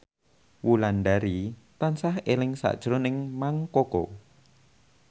Wulandari tansah eling sakjroning Mang Koko